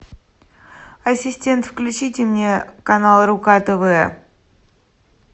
ассистент включите мне канал рука тв